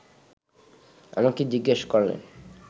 আমাকে জিজ্ঞেস করলেন